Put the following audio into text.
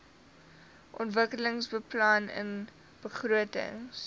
ontwikkelingsbeplanningbegrotings